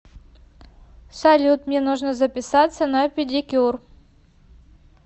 салют мне нужно записаться на педикюр